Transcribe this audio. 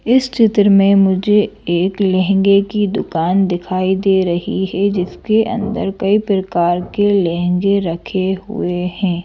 इस चित्र में मुझे एक लहंगे की दुकान दिखाई दे रही है जिसके अंदर कई प्रकार के लहंगे रखे हुए हैं।